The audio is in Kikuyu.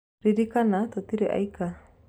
Ririkana, tũtirĩ aika.